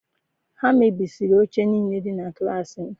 Ha mebisiri oche niile dị na klaasị m